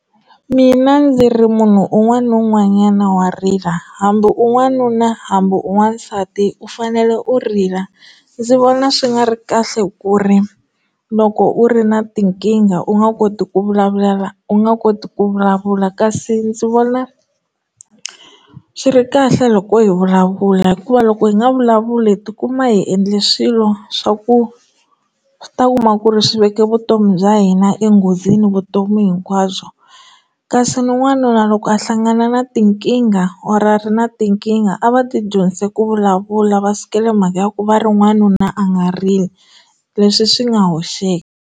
Mina ndzi ri munhu un'wana na un'wanyana wa rila hambi u n'wanuna hambi u n'wansati u fanele u rila ndzi vona swi nga ri kahle ku ri loko u ri na tinkingha u nga koti ku vulavulela u nga koti ku vulavula kasi ndzi vona swi ri kahle loko hi vulavula hikuva loko hi nga vulavuli hi tikuma hi endle swilo swa ku ta kuma ku ri swi veka vutomi bya hina enghozini vutomi hinkwabyo bya kasi n'wanuna loko a hlangana na tinkingha or a ri na tinkingha a va ti dyondzise ku vulavula va sukele mhaka ya ku va ri n'wanuna a nga rili leswi swi nga hoxeka.